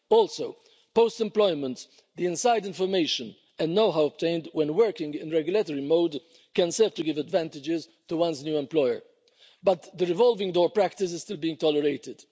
Also, post employment the inside information and know how obtained when working in regulatory mode can serve to give advantages to one's new employer, but the revolving door practice is still being tolerated.